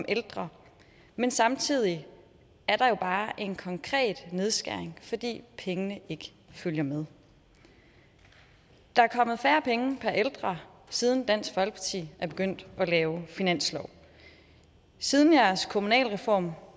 ældre men samtidig er der bare en konkret nedskæring fordi pengene ikke følger med der er kommet færre penge per ældre siden dansk folkeparti er begyndt at lave finanslove siden jeres kommunalreform